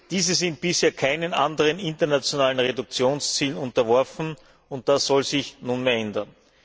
Diese sind bisher keinen anderen internationalen Reduktionszielen unterworfen, und das soll sich nunmehr ändern.